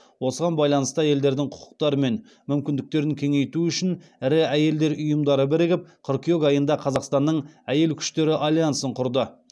осыған байланысты әйелдердің құқықтары мен мүмкіндіктерін кеңейту үшін ірі әйелдер ұйымдары бірігіп қыркүйек айында қазақстанның әйел күштері альянсын құрды